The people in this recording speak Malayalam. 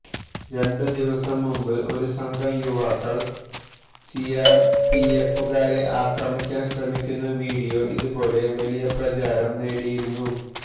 രണ്ട് ദിവസം മുമ്പ് ഒരു സംഘം യുവാക്കള് സിആര്പിഎഫുകാരെ ആക്രമിക്കാന് ശ്രമിക്കുന്ന വീഡിയോ ഇതുപോലെ വലിയ പ്രചാരം നേടിയിരുന്നു